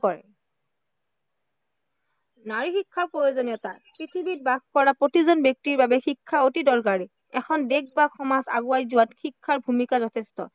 নাৰী শিক্ষাৰ প্ৰয়োজনীয়তা পৃথিৱীত বাস কৰা প্ৰতিজন ব্য়ক্তিৰ বাবে শিক্ষা আতি দৰকাৰী। এখন দেশ বা সমাজ আগুৱাই যোৱাত শিক্ষাৰ ভূমিকা যথেষ্ট